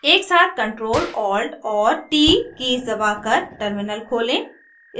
एकसाथ ctrl alt और t keys दबाकर टर्मिनल खोलें